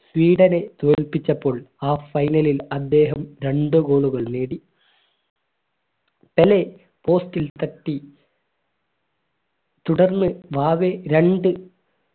സ്വീഡനെ തോൽപ്പിച്ചപ്പോൾ ആ final ൽ അദ്ദേഹം രണ്ട് goal കൾ നേടി പെലെ post ൽ തട്ടി തുടർന്ന് വാവേ രണ്ട്